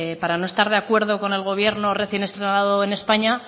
para no estar de acuerdo con el gobierno recién estrenado en españa